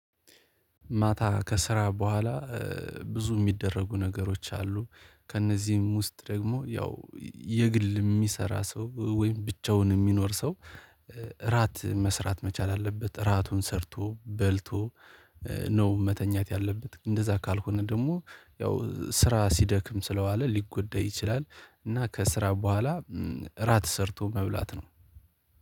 ማታ ከስራ በኋላ ብዙ የሚደረጉ ነገሮች አሉ። ከእነዚህም ውስጥ ደግሞ ያው የግል የሚሰራ ሰው ወይም ብቻውን የሚኖር ሰው። እራት መስራት መቻል አለበት እራቱን ሰርቶ በልቶ ነው መተኛት ያለበት። እንደዛ ካልሆነ ደግሞ ያው ስራ ሲደክም ስለዋለ ሊጎዳ ይችላል። እና ከስራ በኋላ እራት ሰርቶ መብላት ነው።